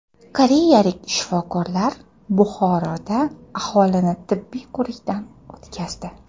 Koreyalik shifokorlar Buxoroda aholini tibbiy ko‘rikdan o‘tkazdi.